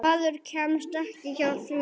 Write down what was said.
Maður kemst ekki hjá því.